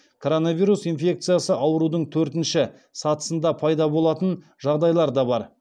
коронавирус инфекциясы аурудың төртінші сатысында пайда болатын жағдайлар да бар